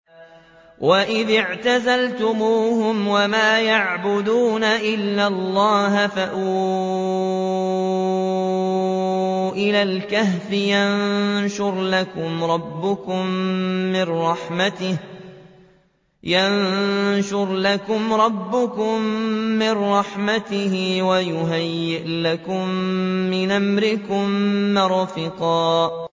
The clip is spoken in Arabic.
وَإِذِ اعْتَزَلْتُمُوهُمْ وَمَا يَعْبُدُونَ إِلَّا اللَّهَ فَأْوُوا إِلَى الْكَهْفِ يَنشُرْ لَكُمْ رَبُّكُم مِّن رَّحْمَتِهِ وَيُهَيِّئْ لَكُم مِّنْ أَمْرِكُم مِّرْفَقًا